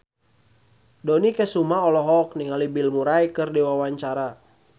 Dony Kesuma olohok ningali Bill Murray keur diwawancara